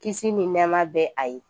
Kisi ni nɛɛma bɛ a ye